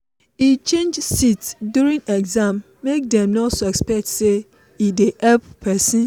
e change seat during exam make dem no suspect say e dey help person.